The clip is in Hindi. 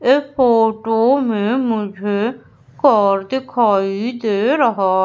इस फोटो में मुझे कार दिखाई दे रहा--